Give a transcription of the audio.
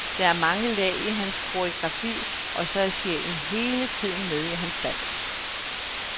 Der er mange lag i hans koreografi, og så er sjælen hele tiden med i hans dans.